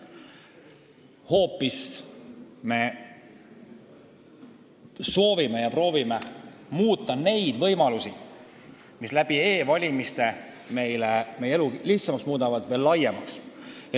Me hoopis soovime ja proovime muuta võimalusi, mis e-valimiste abil meie elu lihtsamaks muudavad, veel laiemaks.